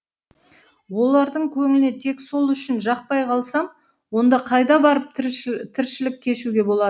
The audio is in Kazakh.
олардың тек сол үшін жақпай қалсам онда қайда барып тіршілік кешуге